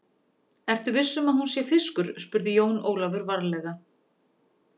Ertu viss um að hún sé fiskur, spurði Jón Ólafur varlega.